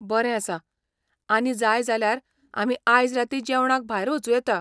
बरें आसा, आनी जाय जाल्यार आमी आयज रातीं जेवणाक भायर वचूं येता.